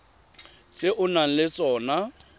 tse o nang le tsona